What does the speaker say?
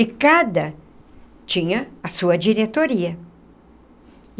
E cada tinha a sua diretoria.